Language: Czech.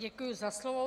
Děkuji za slovo.